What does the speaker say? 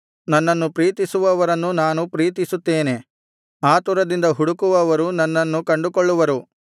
ನನ್ನನ್ನು ಪ್ರೀತಿಸುವವರನ್ನು ನಾನು ಪ್ರೀತಿಸುತ್ತೇನೆ ಆತುರದಿಂದ ಹುಡುಕುವವರು ನನ್ನನ್ನು ಕಂಡುಕೊಳ್ಳುವರು